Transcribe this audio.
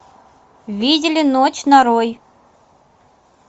видели ночь нарой